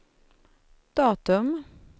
datum